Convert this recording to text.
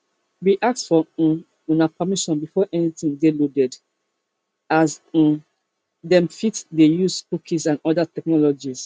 we ask for um una permission before anytin dey loaded as um dem fit dey use cookies and oda technologies